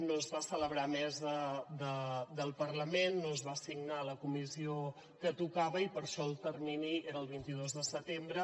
no es va celebrar mesa del parlament no es va assignar a la comissió que tocava i per això el termini era el vint dos de setembre